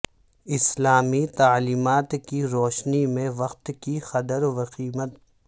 اسلامی تعلیمات کی روشنی میں وقت کی قدر وقیمت